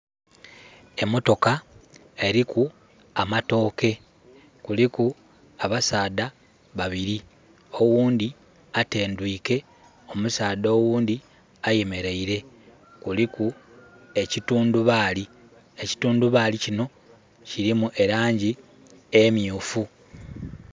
Emotoka eliku amatooke. Kuliku abasaadha babili. Owundhi atendwike, omusaadha owundhi ayemereile. Kuliku ekitundubaali. Ekitundubaali kino kilimu elangi emyuufu.